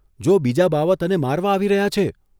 જો બીજા બાવા તને મારવા આવી રહ્યા છે '.